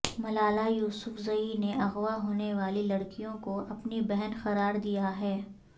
Malala Yousafzai نے اغوا ہونے والی لڑکیوں کو اپنی بہن قرار دیا ہے